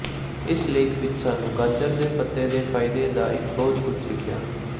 ਇਸ ਲੇਖ ਵਿਚ ਸਾਨੂੰ ਗਾਜਰ ਦੇ ਪੱਤੇ ਦੇ ਫਾਇਦੇ ਦਾ ਇੱਕ ਬਹੁਤ ਕੁਝ ਸਿੱਖਿਆ